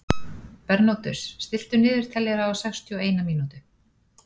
Bernódus, stilltu niðurteljara á sextíu og eina mínútur.